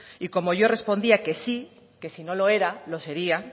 y como yo respondía que sí que si no lo era lo sería